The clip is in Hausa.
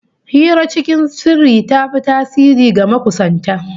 Hira cikin sirri ta fi tasiri ga makusanta